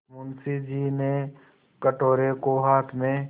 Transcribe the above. मुंशी जी ने कटोरे को हाथ में